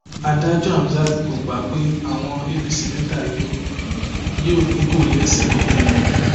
adájọ hamsat kò gba ìpè àwọn apc mẹta yìí ò yìí ò ní kó lẹsẹ nílẹ